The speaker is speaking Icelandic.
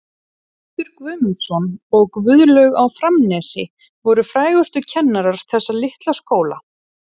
Guðmundur Guðmundsson og Guðlaug á Framnesi voru frægustu kennarar þessa litla skóla.